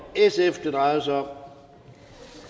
sf det drejer sig om